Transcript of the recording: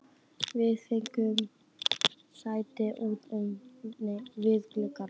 Við fengum sæti út við glugga.